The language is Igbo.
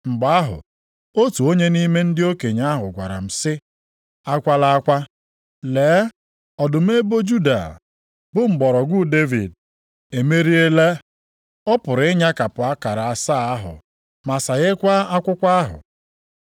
Mgbe ahụ, otu onye nʼime ndị okenye ahụ gwara m sị, “Akwala akwa. Lee, Ọdụm ebo Juda, bụ mgbọrọgwụ Devid, emeriela. Ọ pụrụ ịnyakapụ akara asaa ahụ ma saghekwaa akwụkwọ ahụ.”